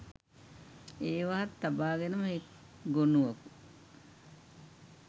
ඒවාත් තබාගෙනම එක් ගොනුවකුත්